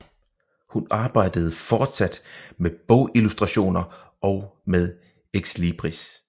Hun arbejdede fortsat med bogillustrationer og med exlibris